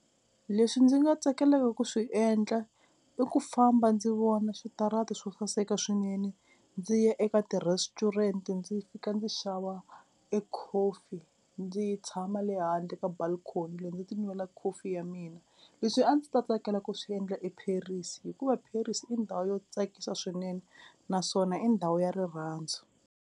Leswi ndzi nga tsakelaka ku swi endla i ku famba ndzi vona switarata swo saseka swinene, ndzi ya eka ti-restaurant ndzi fika ndzi xava e coffee ndzi tshama le handle ka balcony loyi ti nwela coffee ya mina, leswi a ndzi ta tsakela ku swi endla eParis hikuva Paris i ndhawu yo tsakisa swinene naswona i ndhawu ya rirhandzu.